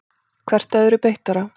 Hvert öðru beittara.